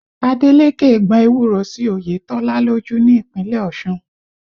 Adeleke gbọn ewúro sí Oyetola lójú ní Ìpínlẹ̀ Ọ̀ṣun